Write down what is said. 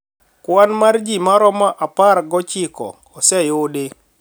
Kwan mar ji maromo apar gochiko oseyudi